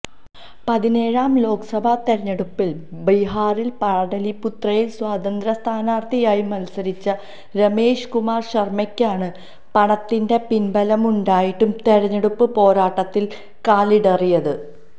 പതിനേഴാം ലോക്സഭാ തെരഞ്ഞെടുപ്പില് ബിഹാറിലെ പാടലീപുത്രയില് സ്വതന്ത്രസ്ഥാനാര്ത്ഥിയായി മത്സരിച്ച രമേശ് കുമാര് ശര്മ്മയ്ക്കാണ് പണത്തിന്റെ പിന്ബലമുണ്ടായിട്ടും തെരഞ്ഞെടുപ്പ് പോരാട്ടത്തില് കാലിടറിയത്